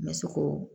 N bɛ se k'o